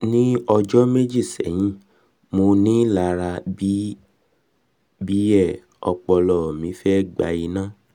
ni ọjọ meji sẹhin monilara bi e ọpọlọ mi fe gba ina